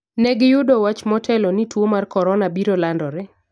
Negi yudo wach motelo ni tuwo mar Korona biro landore